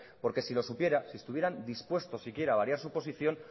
porque si lo supiera si estuvieran dispuestos siquiera a variar su posición